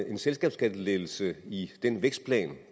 en selskabsskattelettelse i den vækstplan